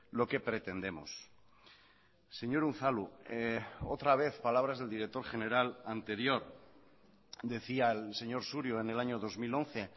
lo que pretendemos señor unzalu otra vez palabras del director general anterior decía el señor surio en el año dos mil once